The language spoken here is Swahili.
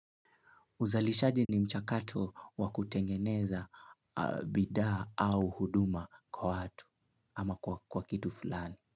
Uzalishaji ni mchakato wakutengeneza bidhaa au huduma kwa watu ama kwa kitu fulani.